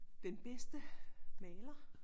Den bedste maler